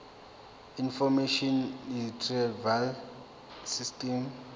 information retrieval system